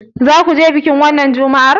Za ka je bikin wannan Juma'ar?